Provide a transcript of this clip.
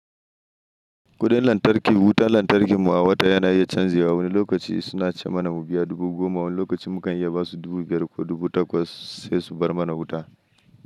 Kudin lantarki, wutan lantarkin mu a wata yana iya canji. Wani lokaci suna cema mana dubu goma, wani lokacin muka iya basu dubu biyar ko dubu takwas sai su bar mana wuta.